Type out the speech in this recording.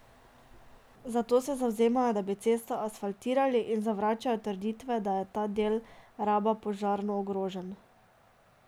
Zato se zavzemajo, da bi cesto asfaltirali, in zavračajo trditve, da je ta del Raba požarno ogrožen.